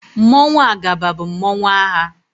Mmanwụ Agaba bụ mmanụ agha.